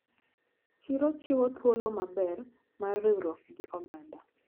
Chiro chiwo thuolo maber mar riwruok gi oganda.